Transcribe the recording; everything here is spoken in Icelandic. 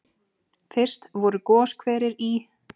Fyrst voru goshverir í